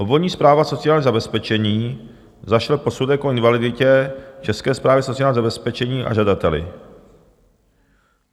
Obvodní správa sociálního zabezpečení zašle posudek o invaliditě České správě sociálního zabezpečení a žadateli.